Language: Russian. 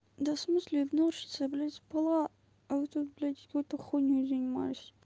да в смысле игнорщица я блядь спала а вы тут блядь вот какой-то хуйнёй занимались